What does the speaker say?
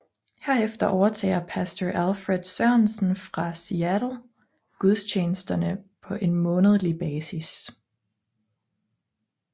Herefter overtager Pastor Alfred Sørensen fra Seattle gudstjenesterne på en månedlig basis